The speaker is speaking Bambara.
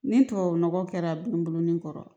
Ni tubabu nɔgɔ kɛra n bolonin kɔrɔ